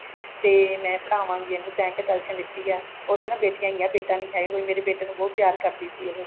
ਤੇ ਮੈਂ ਪੜਾਵਾਂਗੀ ਇਹਨੂੰ ਤੇਂ ਕਿਉਂ tension ਲਿੱਤੀ ਆ ਉਹਦੇ ਨਾ ਬੇਟੀਆਂ ਹੀ ਆ ਬੇਟਾ ਨੀ ਹੈਗਾ ਕੋਈ ਬੇਟੇ ਨੂੰ ਬਹੁਤ ਪਿਆਰ ਕਰਦੀ ਸੀ ਉਹ